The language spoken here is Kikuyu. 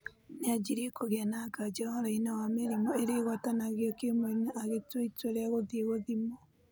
Nĩ anjirie kũgĩa na nganja ũhoroinĩ wa mĩrĩmu ĩrĩa ĩgwatanagĩo kimwĩrĩ na agĩtua itua rĩa gũthiĩ gũthimwo